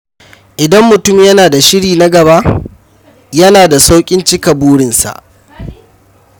Idan mutum yana da shiri na gaba, yana da sauƙin cika burinsa.